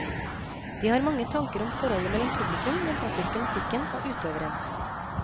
De har mange tanker om forholdet mellom publikum, den klassiske musikken og utøveren.